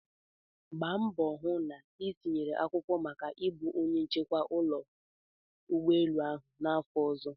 Gbaa mbọ hụ na itinyere akwụkwọ maka ịbụ onye nchekwa n'ụlọ ụgbọelu ahụ n'afọ ọzọ!